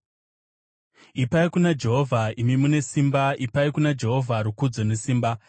Ipai kuna Jehovha, imi mune simba ipai kuna Jehovha rukudzo nesimba.